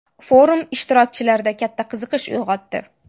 Forum ishtirokchilarda katta qiziqish uyg‘otdi.